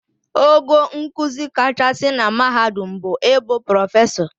Ogo nkuzi kachasị na mahadum bụ ịbụ Prọfesọ